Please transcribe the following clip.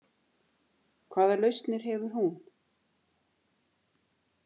Hvaða lausnir hefur hún?